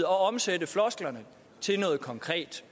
omsætte flosklerne til noget konkret